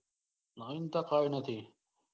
નવીનતા કઈ નથી.